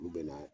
Olu bɛna